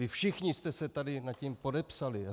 Vy všichni jste se tady nad tím podepsali.